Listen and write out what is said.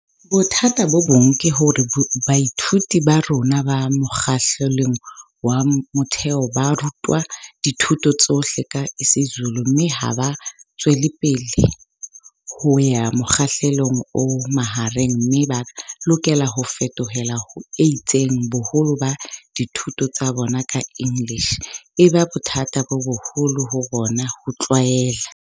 "Bothata bo bong ke hore baithuti ba rona ba mokga hlelong wa motheo ba ru twa dithuto tsohle ka isiZulu mme ha ba tswelapele ho ya mokgahlelong o mahareng mme ba lokela ho fetohela ho etseng boholo ba dithuto tsa bona ka English, e ba bothata bo boholo ho bona ho tlwaela."